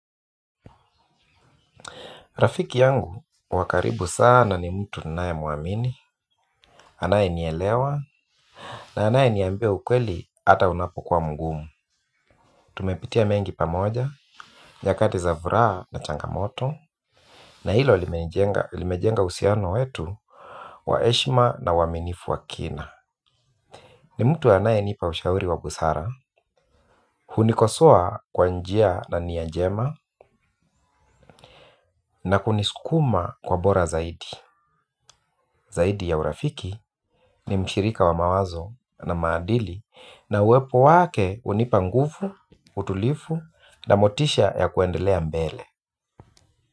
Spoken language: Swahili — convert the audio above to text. Rafiki yangu wa karibu sana ni mtu ninayemwamini, anayenielewa na anayeniambia ukweli hata unapokuwa mgumu. Tumepitia mengi pamoja nyakati za furaha na changamoto, na hilo limejenga uhusiano wetu wa heshima na uaminifu wa kina. Ni mtu anayenipa ushauri wa busara, hunikosoa kwa njia na nia njema na kunisukuma kuwa bora zaidi. Zaidi ya urafiki ni mshirika wa mawazo na maadili na uwepo wake hunipa nguvu, utulivu na motisha ya kuendelea mbele.